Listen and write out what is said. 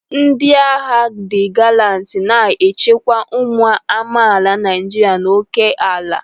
Ndị agha di galanti na-echekwa ụmụ amaala Naijiria na óké ala.